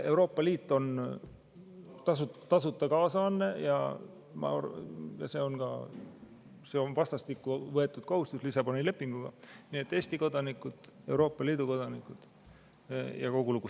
Euroopa Liit on tasuta kaasanne ja see on Lissaboni lepinguga vastastikku võetud kohustus, nii et Eesti kodanikud, Euroopa Liidu kodanikud, ja kogu lugu.